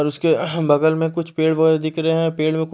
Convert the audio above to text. और उसके बगल में कुछ पेड़ वगेरा दिखरे है पेड़ में कुछ --